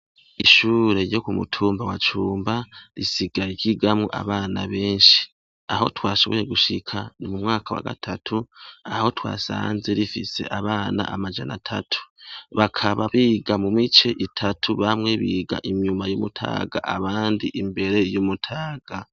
Ishure ryo ku mutumba wa Cumba risigaye ryigamwo abana benshi, aho twashoboye gushika ni mu mwaka wa gatatu aho twasanze rifise abana amajana atatu, bakabanza biga mu mice itatu, bamwe biga inyuma y'umutaga abandi imbere y'umutaga.